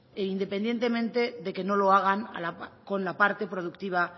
independientemente de que no lo hagan con la parte productiva